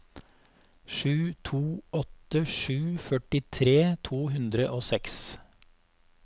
sju to åtte sju førtitre to hundre og seks